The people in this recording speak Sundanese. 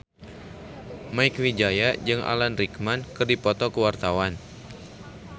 Mieke Wijaya jeung Alan Rickman keur dipoto ku wartawan